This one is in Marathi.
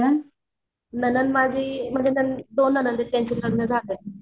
नणंद माझी म्हणजे दोन नणंद आहेत त्यांचे लग्न झालेत.